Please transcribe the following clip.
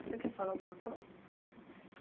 Você quer falar alguma coisa?